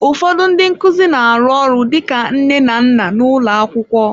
Ụfọdụ ndị nkuzi na-arụ ọrụ dịka nne na nna n'ụlọ akwụkwọ.